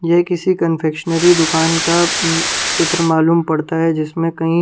यह किसी कंफेक्शनरी दुकान का अहं चित्र मालूम पड़ता है जिसमें कहीं--